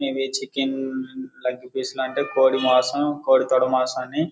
ఇవి chicken leg piece అంటే కోడి మాంసం కోడి తొడ మాసం అండి.